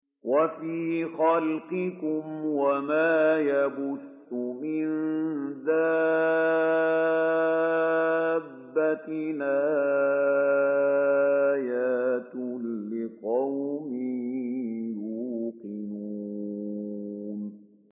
وَفِي خَلْقِكُمْ وَمَا يَبُثُّ مِن دَابَّةٍ آيَاتٌ لِّقَوْمٍ يُوقِنُونَ